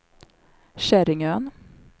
Käringön